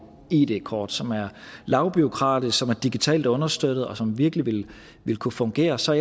id kort som er lavbureaukratisk som er digitalt understøttet og som virkelig vil kunne fungere så